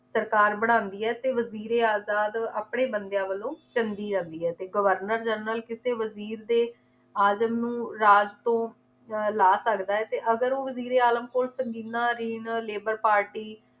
ਸਰਕਾਰ ਬਣਾਂਦੀ ਏ ਤੇ ਵਜ਼ੀਰ ਏ ਆਜ਼ਾਦ ਆਪਣੇ ਬੰਦਿਆਂ ਵੱਲੋਂ ਚੰਗੀ ਆਂਦੀ ਏ ਤੇ ਗਵਰਨਰ ਜਰਨਲ ਵਜ਼ੀਰ ਦੇ ਆਜ਼ਮ ਨੂੰ ਰਾਜ ਤੋਂ ਅਹ ਲਾ ਸਕਦਾ ਏ ਤੇ ਅਗਰ ਉਹ ਵਜ਼ੀਰ ਏ ਆਲਮ